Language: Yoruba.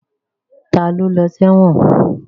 Ta ló lọ sẹ́wọ̀n?